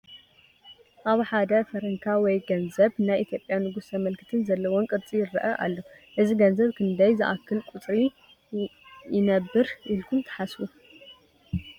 ኣብ ሓደ ፈረንካ ወይ ገንዘብ ናይ ኢ/ያ ንጉስ ዘመልክትን ዘለዎን ቅርፂ ይረአ ኣሎ፡፡ እዚ ገንዘብ ክንደይ ዝኣክል ቁፅሪ ይነብር ኢልኩም ትሓስቡ?